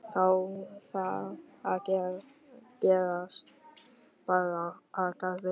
Þá var það að gest bar að garði.